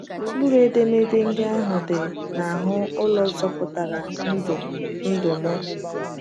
Mkpụrụ edemede ndị ahụ dị n’ahụ ụlọ zọpụtara ndụ ndụ m.